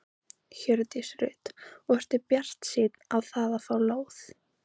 Hjördís Rut: Og ertu bjartsýnn á það að fá lóð?